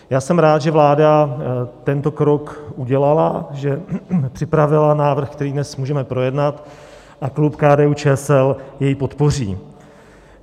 Já jsem rád, že vláda tento krok udělala, že připravila návrh, který dnes můžeme projednat, a klub KDU-ČSL jej podpoří.